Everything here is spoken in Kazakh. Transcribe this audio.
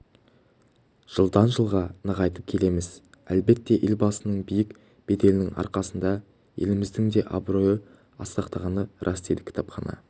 жылдан-жылға нығайтып келеміз әлбетте елбасының биік беделінің арқасында еліміздің де абыройы асқақтағаны рас дейді кітапхана